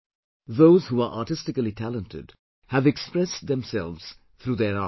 Those who are artistically talented, have expressed themselves through their art